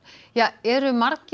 eru margir